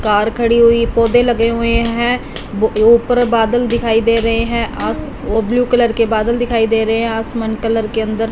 car खड़ी हुई पौधे लगे हुए हैं बो ऊपर बादल दिखाई दे रहे हैं आस वो ब्लू कलर के बादल दिखाई दे रहे हैं आसमान कलर के अंदर--